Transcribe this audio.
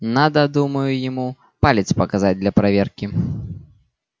надо думаю ему палец показать для проверки